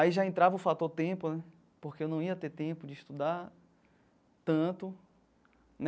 Aí já entrava o fator tempo né, porque eu não ia ter tempo de estudar tanto.